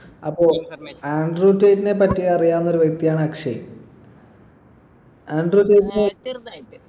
അപ്പൊ ആൻഡ്രു റ്റെയ്റ്റിനെ പറ്റി അറിയാവുന്ന ഒരു വ്യക്തിയാണ് അക്ഷയ് ആൻഡ്രു റ്റെയ്റ്റിനെ